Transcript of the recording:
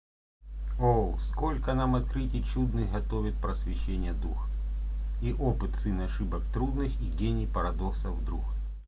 о сколько нам открытий чудных готовит просвещенья дух и опыт сын ошибок трудных и гений парадоксов друг